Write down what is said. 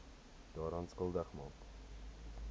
daaraan skuldig maak